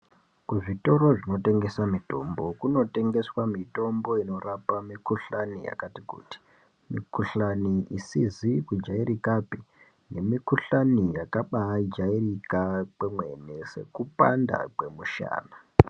Kuzvitoro zvinotengesa mitombo kunotengeswa mitombo inorapa mikuhlani yakati kuti. Mikuhlani isizi kujairikapi nemikuhlani yakabajairika kwemene sekupanda kwemushana.